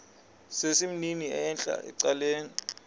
sesimnini entla ecaleni